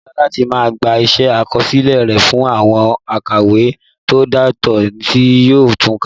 Ó dára láti máa gbé iṣẹ́ àkọsílẹ̀ rẹ fún àwọn òǹkàwé tó dáńtọ́ tí yóò tun kà